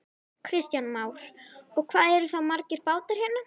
Kristján Már: Og hvað eru þá margir bátar hérna?